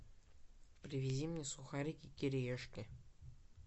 привези мне сухарики кириешки